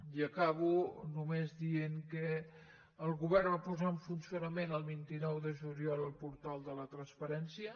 i acabo només dient que el govern va posar en funcionament el vint nou de juliol el portal de la transparència